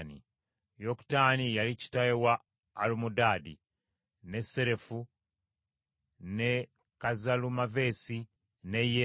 Yokutaani ye yali kitaawe wa Alumodaadi, ne Serefu, ne Kazalumaveesi, ne Yera,